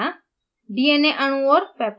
fragment library दिखाना